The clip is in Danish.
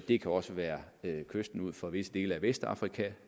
det kan også være kysten ud for visse dele af vestafrika